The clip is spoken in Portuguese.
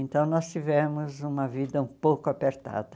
Então nós tivemos uma vida um pouco apertada.